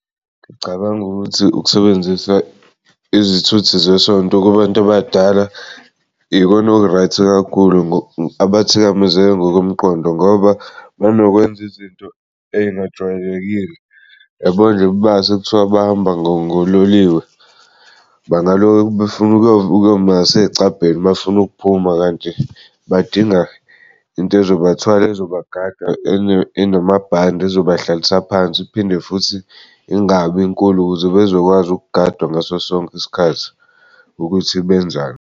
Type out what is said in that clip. Ngicabanga ukuthi ukusebenzisa izithuthi zesonto kubantu abadala ikona oku-right kakhulu, abathikazeke ngokomqondo ngoba banokwenza izinto engajwayelekile. Yabo nje base kuthiwa bahamba ngololiwe bangaloke befuna ukuyoma ngasecabheni befuna ukuphuma, kanti badinga into ezobathwala ozobagada enamabhande ezoba hlalisa phansi iphinde futhi ingabi nkulu ukuze bezokwazi ukugadwa ngaso sonke isikhathi ukuthi benzani.